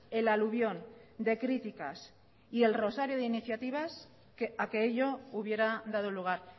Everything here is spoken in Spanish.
el alubión de críticas y el rosario de iniciativas a que ello hubiera dado lugar